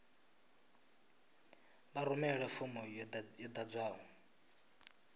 vha rumele fomo yo ḓadzwaho